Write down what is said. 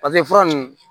paseke fura nunnu